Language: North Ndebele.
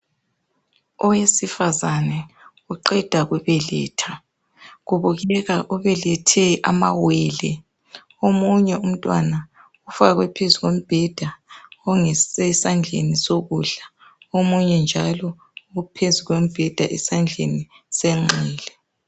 Owesifazane uqeda kubeletha. Kubukeka ubelethe amawele . Omunye umntwana ufakwe phezulu kombheda ongese esandleni sokudla. Omunye njalo uphezu kombheda esandleni senxele.